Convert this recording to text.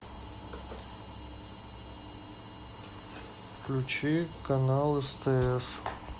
включи канал стс